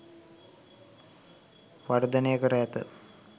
වර්ධනය කර ඇත.